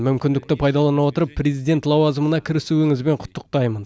мүмкіндікті пайдалана отырып президент лауазымына кірісуіңізбен құттықтаймын